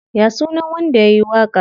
Ya sunan wanda yayi waƙar?